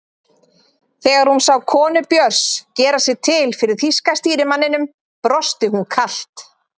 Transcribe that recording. Þegar hún sá konu Björns gera sig til fyrir þýska stýrimanninum brosti hún kalt.